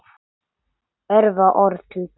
Örfá orð til pabba.